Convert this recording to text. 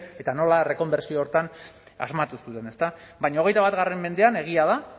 eta nola rekonbertsio horretan asmatu zuten ezta baina hogeita bat mendean egia da